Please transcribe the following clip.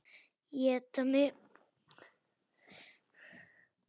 Éta mig.